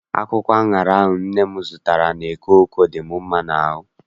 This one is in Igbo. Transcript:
Akwụkwọ aṅara ahụ nne m zụtara n'eke Oko dị m mma n'ahụ.